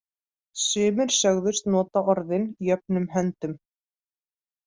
Sumir sögðust nota orðin jöfnum höndum.